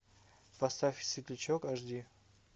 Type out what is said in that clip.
поставь светлячок аш ди